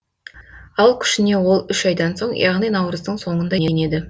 ал күшіне ол үш айдан соң яғни наурыздың соңында енеді